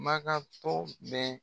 Maka tɔ bɛ